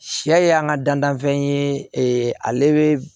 Sɛ y'an ka dantanfɛn ye ale be